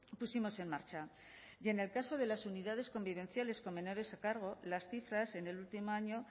pusimos en marcha y en el caso de las unidades convivenciales con menores a cargo las cifras en el último año